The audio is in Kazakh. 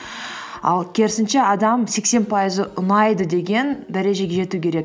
ал керісінше адам сексен пайызы ұнайды деген дәрежеге жету керек